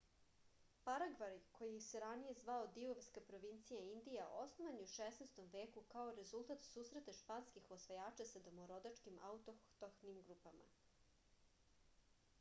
paragvaj koji se ranije zvao divovska provincija indija osnovan je u 16. veku kao rezultat susreta španskih osvajača sa domorodačkim autohtonim grupama